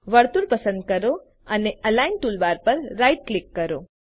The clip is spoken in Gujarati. વર્તુળ પસંદ કરો અને અલિગ્ન ટૂલબાર પર રાઇટ ક્લિક કરો